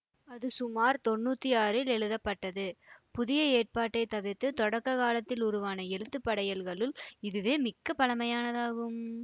அது சுமார் தொன்னூற்தி ஆறில் எழுதப்பட்டது புதிய ஏற்பாட்டைத் தவிர்த்து தொடக்க காலத்தில் உருவான எழுத்து படையல்களுள் இதுவே மிக்க பழமையானதாகும்